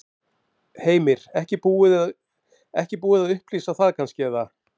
Heimir: Ekki búið að upplýsa það kannski, eða?